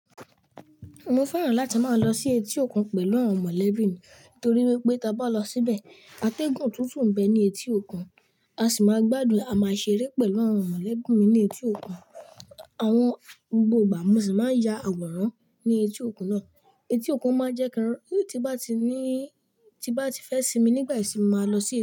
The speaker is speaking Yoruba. Mo fẹ́ràn láti máa lọ sí etí òkun pẹ̀lú àwọn mọ̀lẹ́bí mi nítorí wípé ta bá lọ síbẹ̀, a tègún tuntun n bẹ́ ní etí òkun, a sì máa gbádùn àmàṣéré pẹ̀lú àwọn mọ̀lẹ́bí mi ní etí òkun. Àwọn gbogbo igba mo sì máa n ya àwòrán ní etí òkun náà. Etí òkun máa jẹ́ kí, tí n bá ti ní, tí n bá ti fẹ́ sinmi nígbà ìṣimin máa lọ síbẹ̀